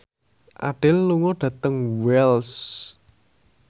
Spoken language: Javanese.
Adele lunga dhateng Wells